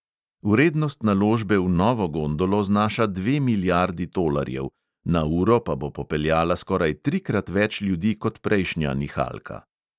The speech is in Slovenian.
Vrednost naložbe v novo gondolo znaša dve milijardi tolarjev, na uro pa bo popeljala skoraj trikrat več ljudi kot prejšnja nihalka.